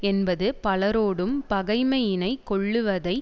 என்பது பலரோடும் பகைமையினை கொள்ளுவதை